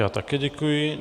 Já také děkuji.